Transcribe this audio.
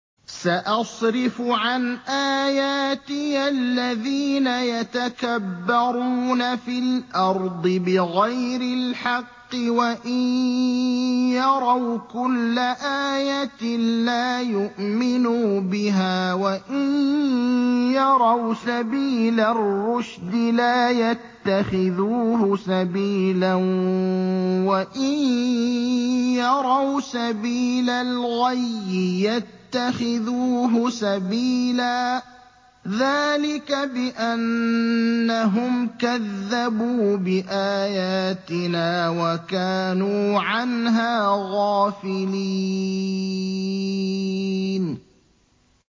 سَأَصْرِفُ عَنْ آيَاتِيَ الَّذِينَ يَتَكَبَّرُونَ فِي الْأَرْضِ بِغَيْرِ الْحَقِّ وَإِن يَرَوْا كُلَّ آيَةٍ لَّا يُؤْمِنُوا بِهَا وَإِن يَرَوْا سَبِيلَ الرُّشْدِ لَا يَتَّخِذُوهُ سَبِيلًا وَإِن يَرَوْا سَبِيلَ الْغَيِّ يَتَّخِذُوهُ سَبِيلًا ۚ ذَٰلِكَ بِأَنَّهُمْ كَذَّبُوا بِآيَاتِنَا وَكَانُوا عَنْهَا غَافِلِينَ